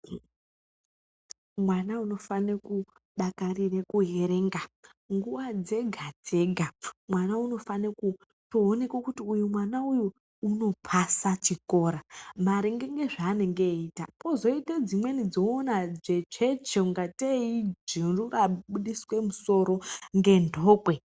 Mwana unofane kudakarire kuerenga nguwa dzega dzega. Mwana unofane kuoneka kuti mwana uyu unopasa chikora maringe ngezvaanenge ayiita, kozoita dzimweni dzounoona dzvetsvetsve kungatei ijuru rabudiswe musoro ngenhokwe.